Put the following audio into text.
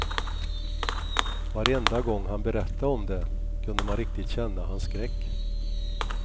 Varenda gång han berättade om det, kunde man riktigt känna hans skräck.